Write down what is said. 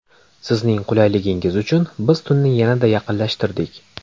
Sizning qulayligingiz uchun biz tunni yanada yaqinlashtirdik!